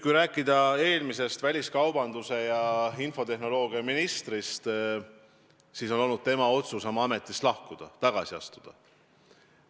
Kui rääkida eelmisest väliskaubandus- ja infotehnoloogiaministrist, siis see oli tema otsus ametist lahkuda, tagasi astuda.